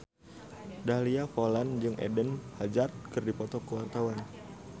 Dahlia Poland jeung Eden Hazard keur dipoto ku wartawan